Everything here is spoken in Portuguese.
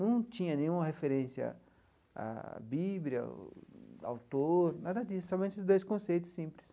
Não tinha nenhuma referência à Bíblia, ao autor, nada disso, somente dois conceitos simples.